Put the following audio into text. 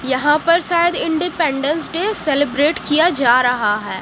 यहां पर शायद इंडिपेंडेंस डे सेलिब्रेट किया जा रहा है।